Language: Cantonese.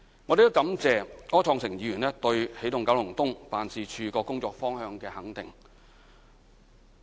我亦感謝柯創盛議員對起動九龍東辦事處工作方向的肯定。